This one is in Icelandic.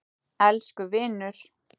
Elsku vinur!